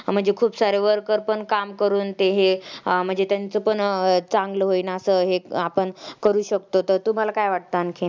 म्हणजे खूप सारे worker पण काम करून ते हे अं म्हणजे त्यांचं पण चांगलं होईन असं हे आपण करू शकतो तर तुम्हाला काय वाटतं आणखीन?